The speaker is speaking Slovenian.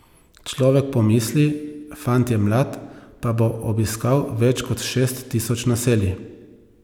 Človek pomisli, fant je mlad, pa bo obiskal več kot šest tisoč naselij.